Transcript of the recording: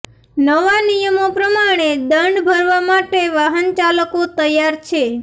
નવા નિયમો પ્રમાણે દંડ ભરવા માટે વાહનચાલકો તૈયાર છે